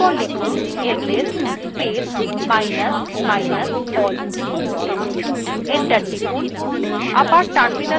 এরপর লিখুন ls space minus minus all তারপর enter টিপুন